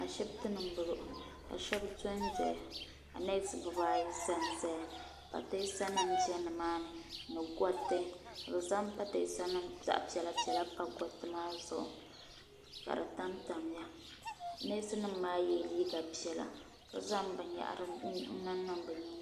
ashibiti ni n bɔŋɔ ka shab dondoya ka nees bibaayi ʒɛnʒɛya pateesa nim bɛ nimaani ni gariti ka bi zaŋ pateesa nim zaɣ piɛla piɛla pa gariti maa zuɣu ka di tamtamya neesi nim maa yɛla liiga piɛla ka zaŋ binyahari n niŋ niŋ bi nyingoya ni